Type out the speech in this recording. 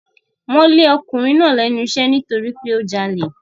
Wọ́n lé ọkùnrin náà lẹ́nu iṣẹ́ nítorí pé ó jalè.